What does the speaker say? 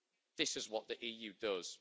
This is what the EU does.